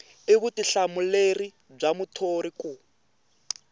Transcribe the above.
i vutihlamuleri bya muthori ku